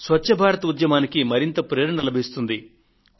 దానితో స్వచ్ఛ భారత్ ఉద్యమానికి మరింత ప్రేరణ లభిస్తుంది